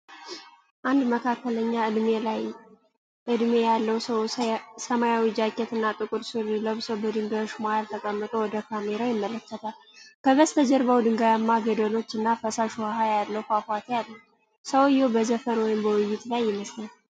አንድ መካከለኛ እድሜ ያለው ሰው ሰማያዊ ጃኬት እና ጥቁር ሱሪ ለብሶ በድንጋዮች መሃል ተቀምጦ ወደ ካሜራው ይመለከታል። ከበስተጀርባው ድንጋያማ ገደሎች እና ፈሳሽ ውሃ ያለው ፏፏቴ አለ። ሰውዬው በዘፈን ወይም በውይይት ላይ ይመስላል።